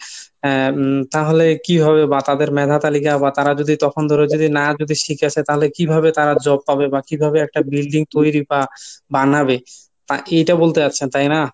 আহ উম তাহলে কিভাবে বা তাদের মেধা তালিকা বা তারা যদি তখনধরে যদি না যদি শিখে আসে তাহলে কিভাবে তারা Job পাবে বা কিভাবে একটা building তৈরী বা বানাবে তা এইটা বলতে চাচ্ছেন তাই নাহ?